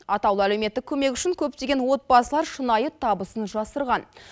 атаулы әлеуметтік көмек үшін көптеген отбасылар шынай табысын жасырған